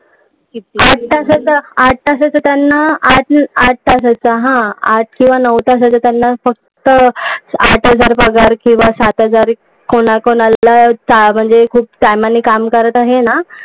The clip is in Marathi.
आत्ता जसं आत्ता जसं त्यांना आठ तासाचा हा आठ किंवा नऊ तासाचा त्यांना फक्त आठ हजार पगार किंवा सात हजार पगार, कोणा कोणाला म्हणजे जे काम करत आहेत ना